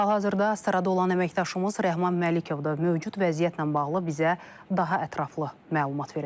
Hal-hazırda Astarada olan əməkdaşımız Rəhman Məlikov da mövcud vəziyyətlə bağlı bizə daha ətraflı məlumat verəcək.